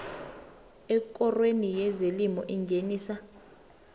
ekorweni yezelimo engenisa